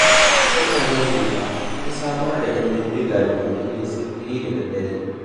Mutanen Sheka sun samar da 'yan banga domin yin sintiri da daddare.